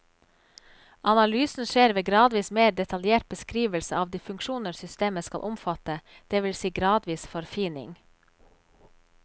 Analysen skjer ved gradvis mer detaljert beskrivelse av de funksjoner systemet skal omfatte, det vil si gradvis forfining.